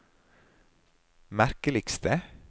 merkeligste